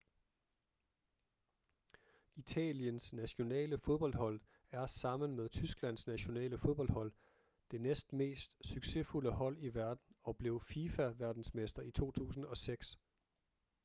italiens nationale fodboldhold er sammen med tysklands nationale fodboldhold det næstmest succesfulde hold i verden og blev fifa verdensmester i 2006